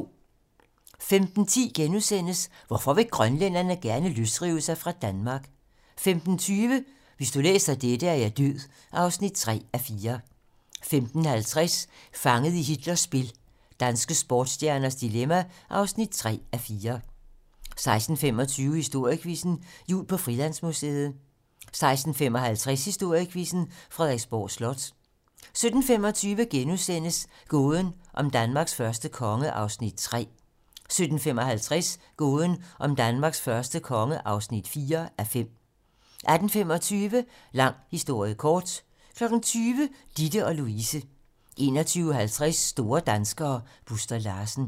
15:10: Hvorfor vil grønlænderne gerne løsrive sig fra Danmark? 15:20: Hvis du læser dette, er jeg død (3:4) 15:50: Fanget i Hitlers spil - danske sportsstjernes dilemma (3:4) 16:25: Historiequizzen: Jul på Frilandsmuseet 16:55: Historiequizzen: Frederiksborg Slot 17:25: Gåden om Danmarks første konge (3:5)* 17:55: Gåden om Danmarks første konge (4:5) 18:25: Lang historie kort 20:00: Ditte & Louise 21:50: Store danskere: Buster Larsen